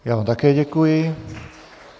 Já vám také děkuji.